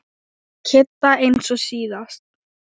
Kidda eins og síðast.